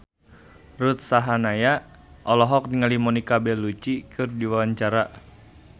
Ruth Sahanaya olohok ningali Monica Belluci keur diwawancara